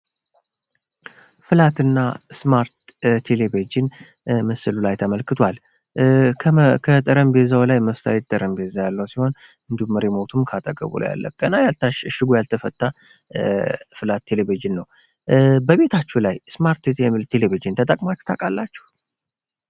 ፍላት እና ስማርት ቴሌቭዥን ምስሉ ላይ ተመልክቷል ከጠረጴዛው ላይ መስታወት ያለው ጠረጴዛ ሲሆን እንዲሁም ሪሞቱ ከአጠገቡ አለ ገና እሽጉ ያልተፈታ ፍላት ቴሌቭዥን በቤታችሁ ላይ ፍላት ቴሌቭዥን ተጠቅማችሁ ታውቃላችሁ?